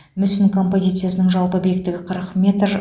мүсін композициясының жалпы биіктігі қырық метр